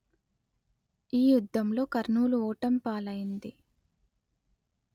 ఈ యుద్ధంలో కర్నూలు ఓటమిపాలైంది